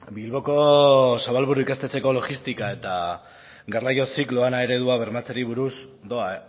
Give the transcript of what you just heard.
bilboko zabalburu ikastetxeko logistika eta garraioa zikloan a eredua bermatzeari buruz doa